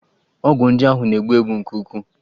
Ọgwụ ndị ahụ na-egbu mgbu nke ukwuu.